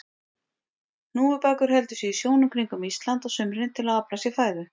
Hnúfubakur heldur sig í sjónum kringum Ísland á sumrin til að afla sér fæðu.